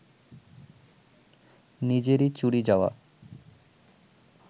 নিজেরই চুরি যাওয়া